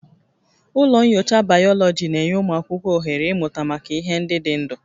Ụlọ nyocha Bayoloji na-enye ụmụ akwụkwọ ohere ịmụta maka ihe ndị dị ndụ